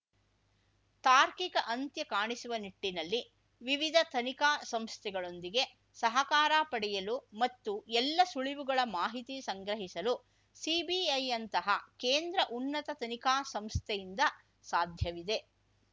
ತಾರ್ಕಿಕ ಅಂತ್ಯ ಕಾಣಿಸುವ ನಿಟ್ಟಿನಲ್ಲಿ ವಿವಿಧ ತನಿಖಾ ಸಂಸ್ಥೆಗಳೊಂದಿಗೆ ಸಹಕಾರ ಪಡೆಯಲು ಮತ್ತು ಎಲ್ಲಾ ಸುಳಿವುಗಳ ಮಾಹಿತಿ ಸಂಗ್ರಹಿಸಲು ಸಿಬಿಐಯಂತಹ ಕೇಂದ್ರ ಉನ್ನತ ತನಿಖಾ ಸಂಸ್ಥೆಯಿಂದ ಸಾಧ್ಯವಿದೆ